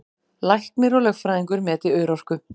Læknir og lögfræðingur meti örorku